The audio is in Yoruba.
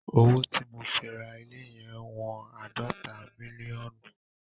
Owó tí mo fi ra ilé yẹn wọn àádọ́ta mílíọ̀nù.